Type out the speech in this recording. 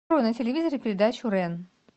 открой на телевизоре передачу рен